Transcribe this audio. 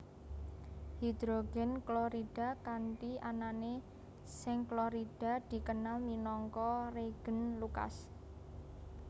Hidrogen klorida kanthi anané seng klorida dikenal minangka reagen Lucas